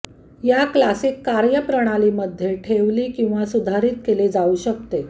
या क्लासिक कार्य प्रणाली मध्ये ठेवली किंवा सुधारीत केले जाऊ शकते